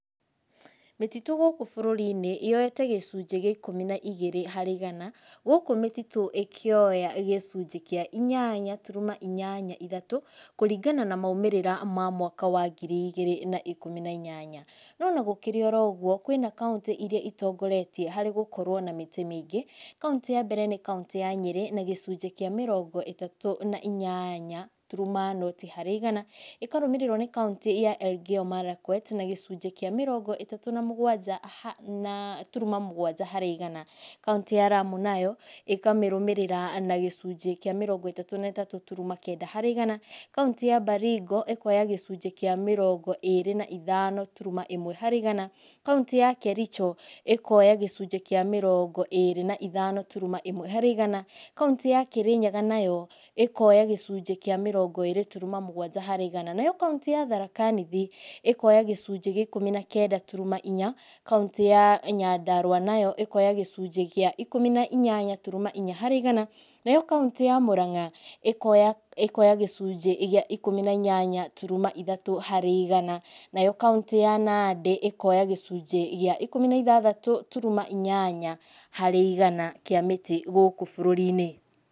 Mĩtitũ gũkũ bũrũrinĩ yoete gĩcunjĩ gĩa ikũmi na igĩrĩ harĩ igana, gũkũ mĩtitũ ĩkĩoya gĩcunjĩ kĩa inyanya turuma inyanya ithatũ, kũringana na maũmĩrĩra ma mwaka wa ngiri igĩrĩ na ĩkũmi inyanya. No ona gũkĩrĩ oro ũguo kwĩna kaũntĩ irĩa itongoretie harĩ gũkorwo kwĩ na mĩtĩ mingĩ, kaũntĩ ya mbere nĩ kaũntĩ ya Nyerĩ na gĩcunjĩ kĩa mĩrongo ĩtatũ na inyanya gaturuma noti harĩ igana, ĩkarũmĩrĩrwo nĩ kaũntĩ ya Elgeyo Marakwet na gĩcunjĩ kĩa mĩrongo ĩtatũ na mũgwanja gaturuma mũgwanja harĩ igana, kaũntĩ ya Lamu nayo ĩkamĩrũmĩrĩra na gĩcunjĩ kĩa mĩrongo ĩtatũ gaturuma kenda harĩ igana, kaũntĩ ya Baringo ĩkoya gĩcunjĩ kĩa mĩrongo ĩrĩ na ithano gaturuma ĩmwe harĩ igana, kaũntĩ ya Kericho ĩkoya gĩcunjĩ kĩa mĩrongo ĩrĩ na ithano gaturuma ĩmwe harĩ igana, kaũntĩ ya Kĩrĩnyaga nayo, ĩkoya gĩcunjĩ kĩa mĩrongo ĩrĩ gaturuma mũgwanja harĩ igana. Nayo kaũntĩ ya Tharaka Nithi, ĩkoya gĩcunjĩ gĩa ikũmi na kenda turuma inya, kaũntĩ ya Nyandarũa nayo ĩkoya gĩcunjĩ gĩa ikũmi na inyanya gaturuma inya harĩ igana nayo kaũntĩ ya Muranga ĩkoya gĩcunjĩ gĩa ikũmi na inyanya turuma ithatũ harĩ igana, nayo kaũntĩ ya Nandĩ ĩkoya gĩcunjĩ gĩa ikũmi na ithathatũ turuma inyanya harĩ igana kĩa mĩtĩ gũkũ bũrũrinĩ.